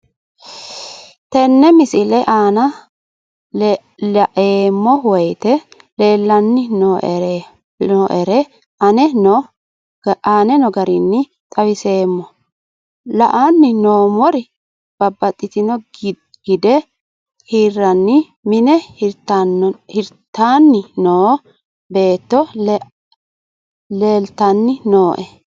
Tenne misile aana laeemmo woyte leelanni noo'ere aane noo garinni xawiseemmo. La'anni noomorri babbaxino gide hiraani mine hiritanni noo beeto leelitanni nooe.